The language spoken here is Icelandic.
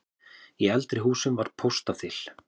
Í eldri húsum var póstaþil.